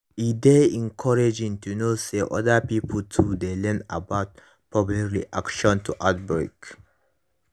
e dey encouraging to know say other pipo too dey learn about public reaction to outbreak